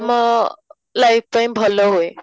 ମୋ life ପାଇଁ ଭଲ ହୁଏ